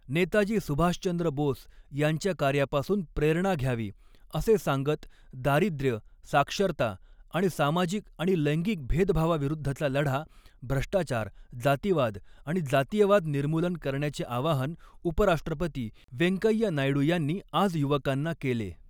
नेताजी सुभाषचंद्र बोस यांच्या कार्यापासून प्रेरणा घ्यावी, असे सांगत दारिद्र्य, साक्षरता आणि सामाजिक आणि लैंगिक भेदभावाविरुद्धचा लढा, भ्रष्टाचार, जातीवाद आणि जातीयवाद निर्मूलन करण्याचे आवाहन उपराष्ट्रपती वेंकय्या नायडू यांनी आज युवकांना केले.